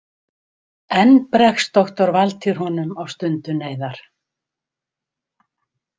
Enn bregst doktor Valtýr honum á stundu neyðar.